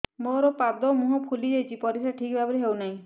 ମୋର ପାଦ ମୁହଁ ଫୁଲି ଯାଉଛି ପରିସ୍ରା ଠିକ୍ ଭାବରେ ହେଉନାହିଁ